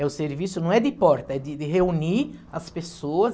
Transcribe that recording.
Eh, o serviço, não é de porta, é de de reunir as pessoa.